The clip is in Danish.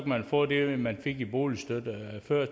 man få det man fik i boligstøtte før